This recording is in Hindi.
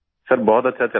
सर बहुत अच्छा चल रहा है